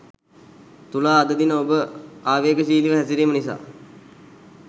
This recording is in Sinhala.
තුලා අද දින ඔබ ආවේගශීලීව හැසිරීම නිසා